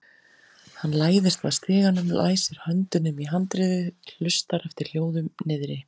Hann læðist að stiganum, læsir höndunum í handriðið, hlustar eftir hljóðum niðri.